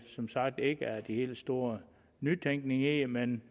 som sagt ikke er den helt store nytænkning i det men